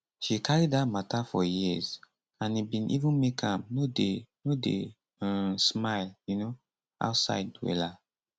she carry dat mata for years and e bin even make am no dey no dey um smile um outside wella